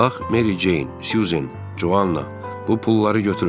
Bax, Meri Ceyn, Suzan, Covanna, bu pulları götürün.